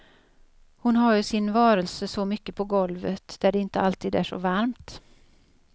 Hon har ju sin varelse så mycket på golvet, där det inte alltid är så varmt.